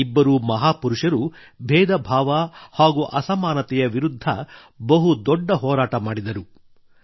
ಈ ಇಬ್ಬರೂ ಮಹಾಪುರುಷರು ಭೇದಭಾವ ಹಾಗೂ ಅಸಮಾನತೆಯ ವಿರುದ್ಧ ಬಹುದೊಡ್ಡ ಹೋರಾಟ ಮಾಡಿದರು